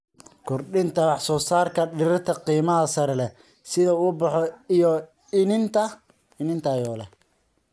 Kordhinta wax soo saarka dhirta qiimaha sare leh sida ubaxa iyo iniin tayo leh.